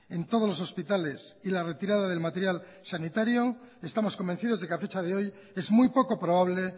en todos los hospitales y la retirada del material sanitario estamos convencidos de que a fecha de hoy es muy poco probable